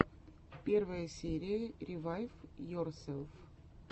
первая серия ревайвйорселф